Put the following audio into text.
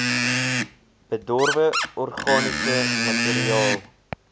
bedorwe organiese materiaal